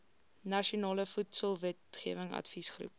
nasionale voedselwetgewing adviesgroep